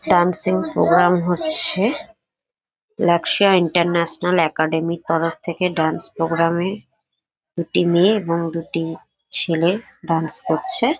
Dancing programme হচ্ছে। লাক্সা international একাডেমীর তরফ থেকে ডান্স প্রোগ্রামে দুটি মেয়ে এবং দুটি ছেলে ডান্স করছে।